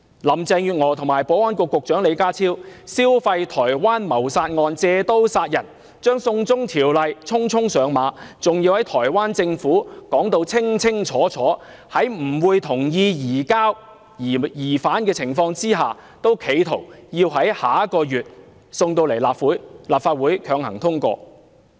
林鄭月娥與保安局局長李家超消費台灣謀殺案，借刀殺人，將"送中條例"匆匆上馬，還在台灣政府清清楚楚表明不會同意移交疑犯的情況下，企圖於下月將《條例草案》提交立法會會議，強行通過。